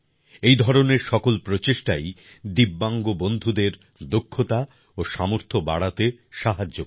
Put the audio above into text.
এই ধরনের সকল প্রচেষ্টাই দিব্যাংগ বন্ধুদের দক্ষতা ও সামর্থ্য বাড়াতে সাহায্য করে